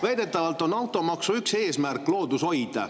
Väidetavalt on automaksu üks eesmärk loodushoid.